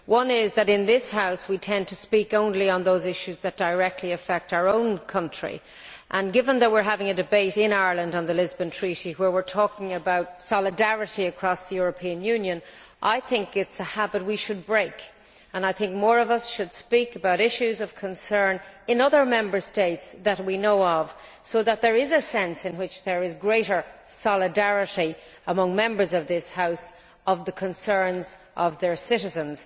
One is that in this House, we tend to speak only on those issues that directly affect our own countries and, given that we are having a debate in Ireland on the Lisbon Treaty where we are talking about solidarity across the European Union I think it is a habit we should break. I think more of us should speak about issues of concern in other Member States that we know of, so that there is a sense in which there is greater solidarity among Members of this House regarding the concerns of their citizens.